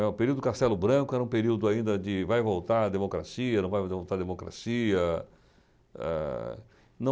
Né, o período do Castelo Branco era um período ainda de vai voltar a democracia, não vai voltar a democracia. Ah... não